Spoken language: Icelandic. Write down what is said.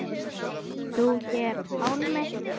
Þú hér, Pálmi.